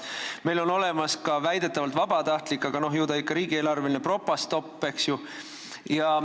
Meil on olemas väidetavalt ka vabatahtlik – aga ju ta ikka riigieelarveline on – Propastop.